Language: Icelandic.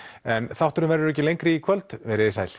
en þátturinn verður ekki lengri í kvöld veriði sæl